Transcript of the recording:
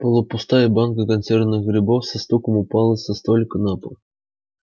полупустая банка консервированных грибов со стуком упала со столика на пол